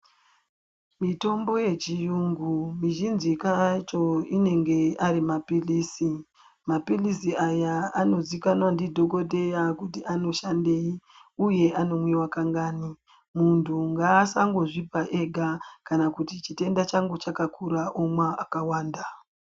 Mitombo yechiyungu mizhinji ka yacho inenge arimaphilizi, maphilizi aya anozikanwa ndidhogodheya kuti anoshandei uye anomwiwa kangani. Muntu ngaasangozvipa ega kana kuti chitenda changu chakakura omwa akawanda.